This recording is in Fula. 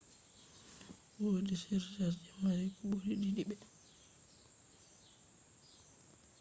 wodi surcharge je mari ko buri didi be